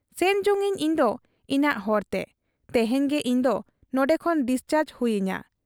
ᱥᱮᱱ ᱡᱚᱝ ᱟᱹᱧ ᱤᱧᱫᱚ ᱤᱧᱟᱹᱜ ᱦᱚᱨᱛᱮ ᱾ ᱛᱮᱦᱮᱧ ᱜᱮ ᱤᱧᱫᱚ ᱱᱚᱱᱰᱮ ᱠᱷᱚᱱ ᱰᱤᱥᱪᱟᱨᱡᱽ ᱦᱩᱭ ᱟᱹᱧᱟ ᱾